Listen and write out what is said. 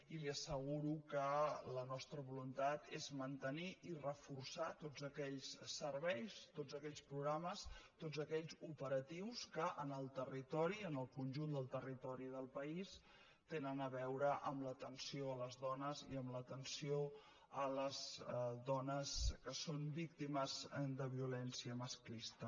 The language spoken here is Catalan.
i li asseguro que la nostra voluntat és mantenir i reforçar tots aquells serveis tots aquells programes tots aquells operatius que en el territori en el conjunt del territori del país tenen a veure amb l’atenció a les dones i amb l’atenció a les dones que són víctimes de violència masclista